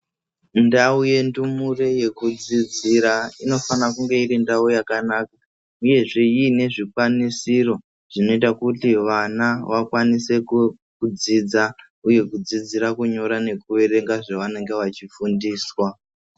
Mundao yendumure yekudzidzira inofanire kunge iri ndao yakanaka uyezve iine zvikwanisiro zvinoita kuti vana vakwanise kudzidzira kunyora nekuverenga zvavanenge vachifundiswa .